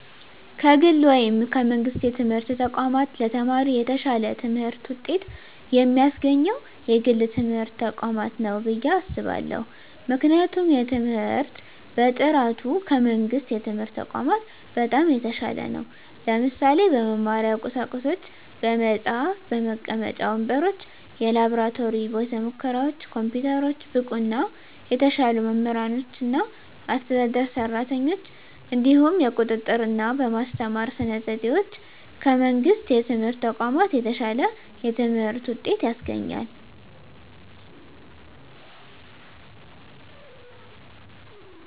ከግል ወይም ከመንግሥት የትምህርት ተቋማት ለተማሪ የተሻለ ትምህርት ውጤት የሚያስገኘው የግል ትምህርት ተቋማት ነው ብየ አስባለሁ ምክንያቱም የትምህርት በጥራቱ ከመንግስት የትምህርት ተቋማት በጣም የተሻለ ነው ለምሳሌ - በመማሪያ ቁሳቁሶች በመፅሀፍ፣ መቀመጫ ወንበሮች፣ የላብራቶሪ ቤተሙከራዎች፣ ኮምፒውተሮች፣ ብቁና የተሻሉ መምህራኖችና አስተዳደር ሰራተኞች፣ እንዲሁም የቁጥጥ ርና በማስተማር ስነ ዘዴዎች ከመንግስት የትምህርት ተቋማት የተሻለ የትምህርት ውጤት ያስገኛል።